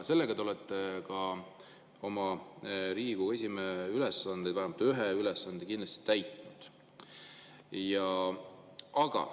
Sellega te olete Riigikogu esimehe ülesandeid, vähemalt ühe ülesande kindlasti täitnud.